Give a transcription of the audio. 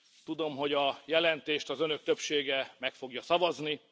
Tudom, hogy a jelentést az Önök többsége meg fogja szavazni.